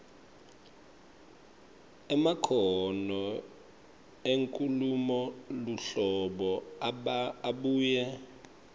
emakhono enkhulumoluhlolo abuye